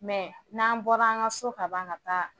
n'an bɔra an ka so ka ban ka taa